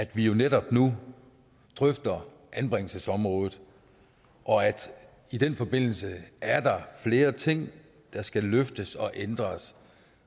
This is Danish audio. vi jo netop nu drøfter anbringelsesområdet og i den forbindelse er der flere ting der skal løftes og ændres